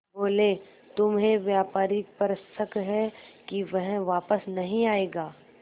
बोले तुम्हें व्यापारी पर शक है कि वह वापस नहीं आएगा